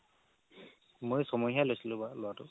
মইয়ো ছমহীয়াই লৈছিলো বাৰু লোৱাতো